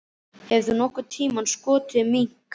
Hefur þú nokkurn tíma skotið mink?